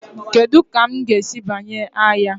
Kedu ka m ga-esi banye agha?